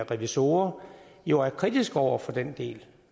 revisorer jo er kritiske over for den del